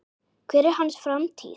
Hver er hans framtíð?